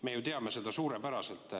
Me ju teame seda suurepäraselt.